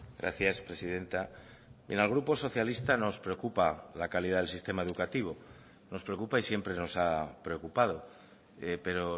gracias presidenta en el grupo socialista nos preocupa la calidad del sistema educativo nos preocupa y siempre nos ha preocupado pero